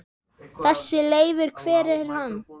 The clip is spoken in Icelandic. Þessi Leifur. hver er hann?